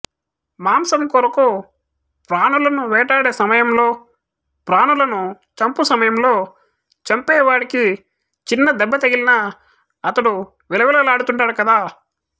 మాంసము కొరకు ప్రాణులను వేటాడే సమయంలో ప్రాణులను చంపుసమయంలో చంపే వాడికి చిన్న దెబ్బ తగిలినా అతడు విలవిల్లాడుతుంటాడు కదా